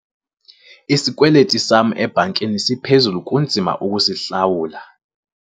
Isikweliti sam ebhankini siphezulu kunzima ukusihlawula.